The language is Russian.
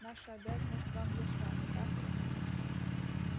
наша обязанность вам ясна не так ли